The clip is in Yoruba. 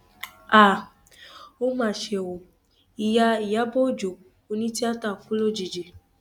um ó mà ṣe o ìyá ìyàbò ọjọ onítìata kù lójijì